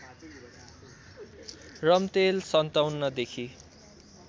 Ramtel ०५७देखि